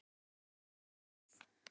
Já úff!